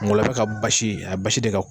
Ngɔlɔbɛ ka basi a basi de ka.